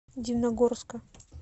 дивногорска